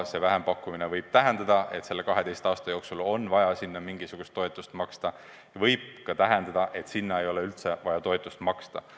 See vähempakkumine võib tähendada, et selle 12 aasta jooksul on vaja selleks mingisugust toetust maksta, aga võib ka tähendada, et seda toetust ei ole vaja maksta.